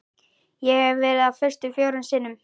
Ég hef verið á föstu fjórum sinnum.